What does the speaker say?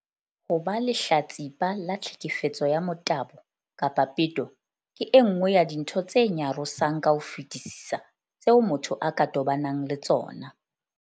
Ho ba lehlatsipa la tlheke fetso ya motabo kapa peto ke e nngwe ya dintho tse nyarosang ka ho fetisisa tseo motho a ka tobanang le tsona.